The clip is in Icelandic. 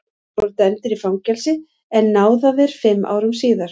Þeir voru dæmdir í fangelsi en náðaðir fimm árum síðar.